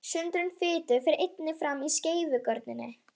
Sundrun fitu fer einnig fram í skeifugörninni.